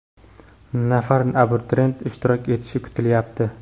nafar abituriyent ishtirok etishi kutilyapti.